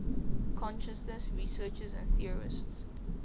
consciousness researchers and theorists